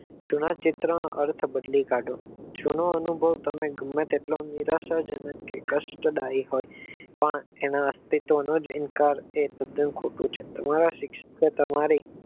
જુના ચિત્રનું અર્થ બદલી કાઢો જૂનો અનુભવ તમે ગમે તેટલા નિરાશા જનક કે કષ્ટદાયી પાર પણ એના ઇન્કાર તે તદ્દન ખોટું છે તમારે